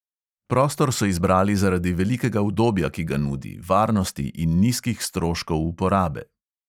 Prostor so izbrali zaradi velikega udobja, ki ga nudi, varnosti in nizkih stroškov uporabe.